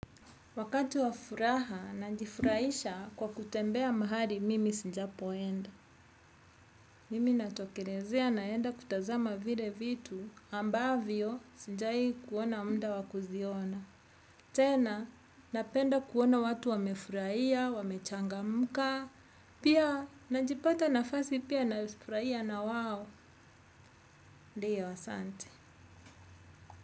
Wakati wa furaha najifurahisha kwa kutembea mahali mimi sijapoenda. Mimi natolerezea naenda kutazama vile vitu ambavyo sinjai kuona mda wakuziona. Tena napenda kuona watu wamefurahia, wamechangamka, pia najipata nafasi pia nafurahia na wao, ndiyo asante.